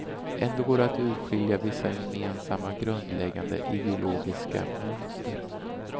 Ändå går det att urskilja vissa gemensamma, grundläggande ideologiska mönster.